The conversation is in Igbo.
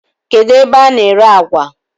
Kedụ ebe a na-ere àgwà?